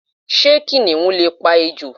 Sé kìnìún lè pa ejò?